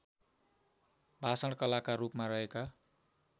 भाषणकलाका रूपमा रहेका